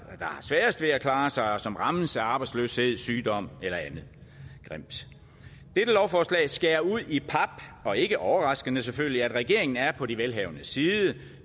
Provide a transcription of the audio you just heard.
har sværest ved at klare sig og som rammes af arbejdsløshed sygdom eller andet grimt dette lovforslag skærer ud i pap og ikke overraskende selvfølgelig at regeringen er på de velhavendes side den